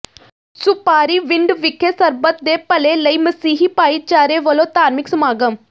ਸੁਪਾਰੀਵਿੰਡ ਵਿਖੇ ਸਰਬੱਤ ਦੇ ਭਲੇ ਲਈ ਮਸੀਹੀ ਭਾਈਚਾਰੇ ਵਲੋਂ ਧਾਰਮਿਕ ਸਮਾਗਮ